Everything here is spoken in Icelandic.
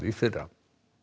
í fyrra